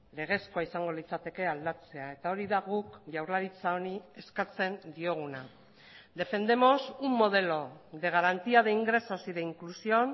legezkoa izango litzateke aldatzea eta hori da guk jaurlaritza honi eskatzen dioguna defendemos un modelo de garantía de ingresos y de inclusión